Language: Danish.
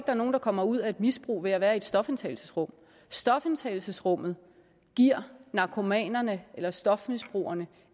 er nogen der kommer ud af et misbrug ved at være i et stofindtagelsesrum stofindtagelsesrummet giver narkomanerne eller stofmisbrugerne